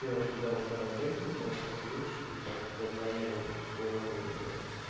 девушка довольно востребованная сейчас вещь и так как я планирую в скором времени